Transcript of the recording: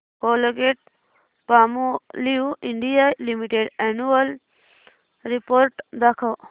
Colgate Palmolive India limited annual report दाखव